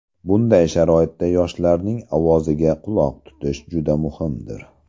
Bunday sharoitda yoshlarning ovoziga quloq tutish juda muhimdir.